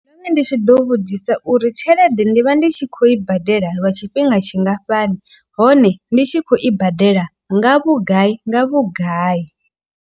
Ndo vha ndi tshi ḓo vhudzisa uri tshelede ndi vha ndi tshi khou i badela lwa tshifhinga tshingafhani. Hone ndi tshi khou i badela nga vhugai nga vhugai.